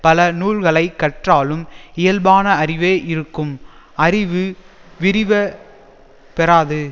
பல நூல்களை கற்றாலும் இயல்பான அறிவே இருக்கும் அறிவு விரிவ பெறாது